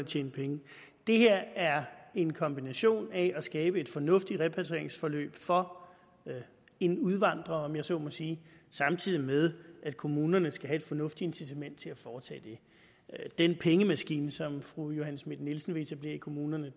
tjene penge det her er en kombination af at skabe et fornuftigt repatrieringsforløb for en udvandrer om jeg så må sige samtidig med at kommunerne skal have et fornuftigt incitament til at foretage det den pengemaskine som fru johanne schmidt nielsen vil etablere i kommunerne